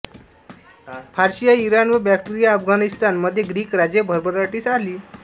Persia Iran व Bactria Afghanistan मध्ये Greek राज्ये भरभराटीस आली